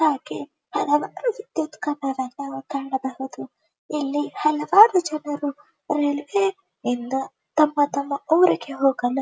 ಇಲ್ಲಿ ಹಲವಾರು ವಿದ್ಯುತ್ ಕಂಬವನ್ನು ಕಾಣಬಹುದು. ಇಲ್ಲಿ ಹಲವಾರು ಜನರು ತಮ್ಮ ತಮ್ಮ ಊರಿಗೆ ಹೋಗಲು--